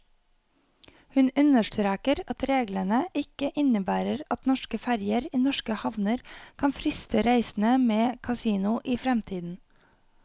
Hun understreker at reglene ikke innebærer at norske ferger i norske havner kan friste reisende med kasino i fremtiden.